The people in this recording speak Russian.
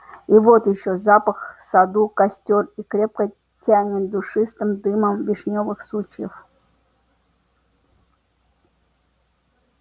и вот ещё запах в саду костёр и крепко тянет душистым дымом вишнёвых сучьев